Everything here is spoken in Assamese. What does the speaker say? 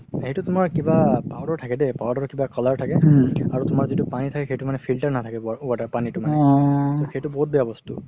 সেইটো তুমাৰ কিবা powder থাকে দেই powder কিবা color থাকে আৰু তুমাৰ যিতো পানি থাকে সেইটো মানে filter নাথাকে water পনিতো মানে সেইটো বহুত বেয়া বস্তু